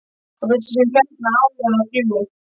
Og þessi sem hérna áðan á þrjú.